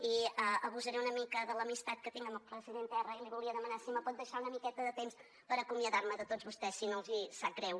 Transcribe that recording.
i abusaré una mica de l’amistat que tinc amb la presidenta erra i li volia demanar si em pot deixar una miqueta de temps per acomiadar me de tots vostès si no els hi sap greu